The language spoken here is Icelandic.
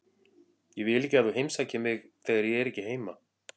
Ég vil ekki að þú heimsækir mig þegar ég er ekki heima.